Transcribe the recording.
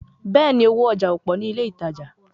Bẹ́ẹ̀ni, owó ọjà ò pọ̀ ní ilé ìtajà